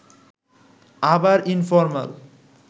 আবার ইনফরমাল